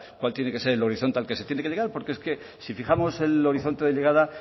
cuál tiene que ser el horizonte al que se tiene que llegar porque es que si fijamos el horizonte de llegada